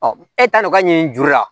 e taar'o ka ɲini juru la